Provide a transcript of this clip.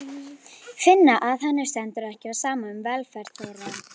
Finna að henni stendur ekki á sama um velferð þeirra.